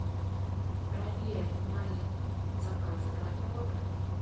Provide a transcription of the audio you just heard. проверь мои заказы готовы